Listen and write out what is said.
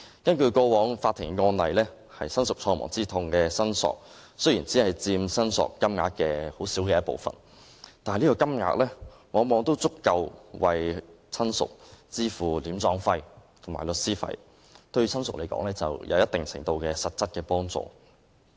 根據過往的法庭案例，親屬喪亡之痛的申索雖然只佔申索金額一個很小的部分，但往往已足夠為親屬支付殮葬費和律師費，對親屬而言，有一定程度的實質幫助。